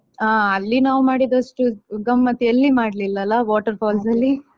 ಹಾ ಅಲ್ಲಿ ನಾವು ಮಾಡಿದಷ್ಟು ಗಮ್ಮತ್ತು ಎಲ್ಲಿ ಮಾಡ್ಲಿಲ್ಲಲ್ಲಾ water falls ಅಲ್ಲಿ.